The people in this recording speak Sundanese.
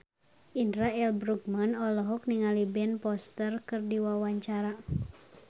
Indra L. Bruggman olohok ningali Ben Foster keur diwawancara